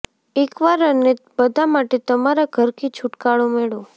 એકવાર અને બધા માટે તમારા ઘર કી છુટકારો મેળવો